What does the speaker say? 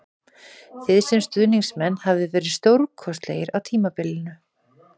Þið sem stuðningsmenn hafið verið stórkostlegir á tímabilinu